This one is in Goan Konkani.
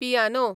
पियानो